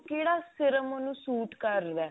ਕਿਹੜਾ serum ਮੈਨੂੰ suit ਕਰਦਾ